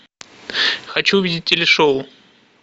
хочу увидеть телешоу